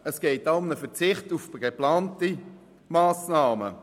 Es geht um einen Verzicht auf geplante Massnahmen.